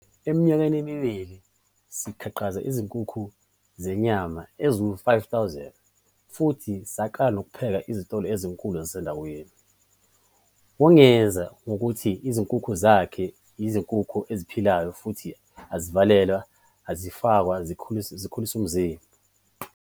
"Eminyakeni emibili, sakhiqiza izinkukhu zenyama eziyizi-5 000 futhi saqala nokuphakela izitolo ezinkulu zasendaweni." Wongeze ngokuthi izinkukhu zakhe yizinkukhu eziphilayo futhi azivalelwa, azifakwa zikhulisimzimba.